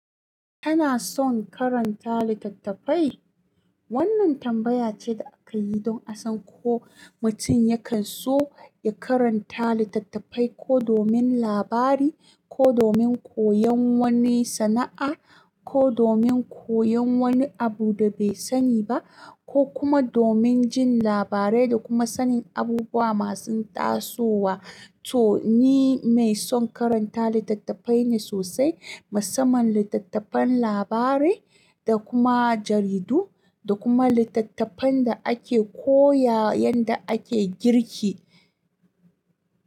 Kana son karanta littattafai? Wannan tambaya ce da akayi don a san ko mutum yakan so ya karanta littattafai ko domin labari, ko domin koyon wani sana'a, ko domin koyon wani abu da bai sani ba, ko kuma domin jin labarai da kuma sanin abubuwa masu tasowa. To ni mai son karanta littattafai ne sosai, musamman littattafan labarai da kuma jaridu da kuma littattafan da ake koya yadda ake girki.